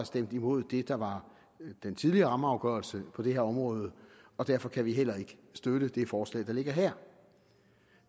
stemte imod den tidligere rammeafgørelse på det her område derfor kan vi heller ikke støtte det forslag der ligger her